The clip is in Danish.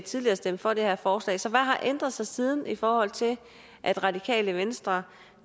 tidligere stemte for det her forslag så hvad har ændret sig siden i forhold til at radikale venstre